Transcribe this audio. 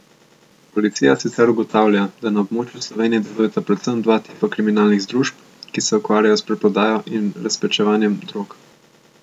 Policija sicer ugotavlja, da na območju Slovenije delujeta predvsem dva tipa kriminalnih združb, ki se ukvarjajo s preprodajo in razpečevanjem drog.